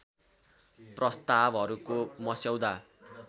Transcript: प्रस्तावहरूको मस्यौदा